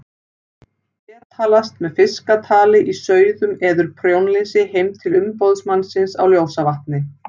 Betalast með fiskatali í sauðum eður prjónlesi heim til umboðsmannsins á Ljósavatni.